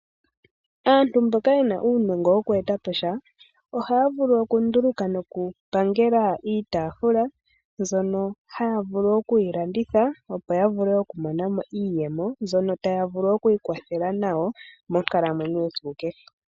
Aantu mboka yena uunongo woku eta sa ohaya vulu oku nduluka noku pangela iitafula mbyono haya vulu okuyi landitha opo ya vule okumonamo iiyemo mbyono taya vulu oku ikwathela nayo monkalamwenyo yesiku kehe.